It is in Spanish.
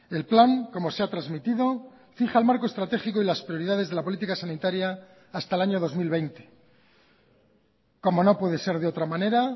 el plan como se ha transmitido fija el marco estratégico y las prioridades de la política sanitaria hasta el año dos mil veinte como no puede ser de otra manera